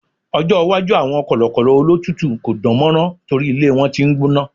ọjọ iwaju awọn kọlọkọlọ olotutu ko dánmọrán nitori ilé wan t'in n gbóná